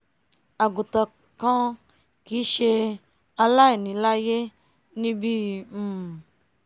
àgùntàn kan kìí ṣe aláìní l'áíyé níbíi um